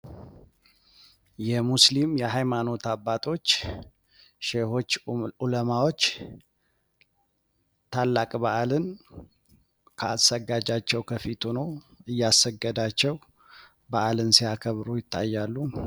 የሙስሊም የሃይማኖት አባቶች ሸሆች ኩለማዎች ታላቅ በአልን አሰጋጃቸው ከፊት ሆኖ እያሰገዳቸው በአልን ሲያከብሩ ይታያሉ።